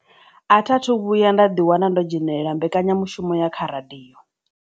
A tha thu vhuya nda ḓiwana ndo dzhenelela mbekanyamushumo ya kha radio.